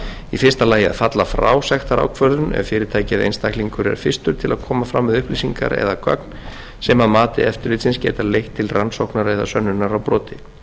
í fyrsta lagi að falla frá sektarákvörðun ef fyrirtæki eða einstaklingur er fyrstur til að koma fram með upplýsingar eða gögn sem að mati eftirlitsins geta leitt til rannsóknar eða sönnunar á broti